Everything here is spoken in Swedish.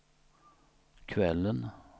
kvällen